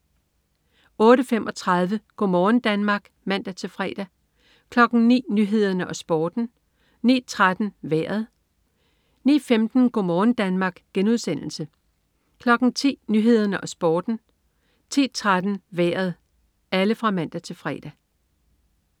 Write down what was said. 08.35 Go' morgen Danmark (man-fre) 09.00 Nyhederne og Sporten (man-fre) 09.13 Vejret (man-fre) 09.15 Go' morgen Danmark* (man-fre) 10.00 Nyhederne og Sporten (man-fre) 10.13 Vejret (man-fre)